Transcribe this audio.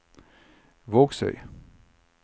Vågsøy